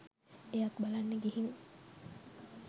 එයත් බලන්න ගිහින්